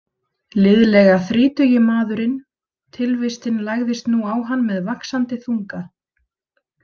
Liðlega þrítugi maðurinn Tilvistin lagðist nú á hann með vaxandi þunga.